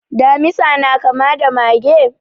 Damisa na kama da mage?